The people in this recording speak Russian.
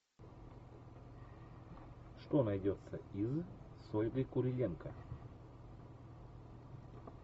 что найдется из с ольгой куриленко